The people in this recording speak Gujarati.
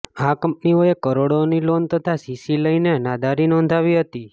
આ કંપનીઓએ કરોડોની લોન તથા સીસી લઇને નાદારી નોંધાવી હતી